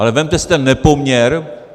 Ale vezměte si ten nepoměr.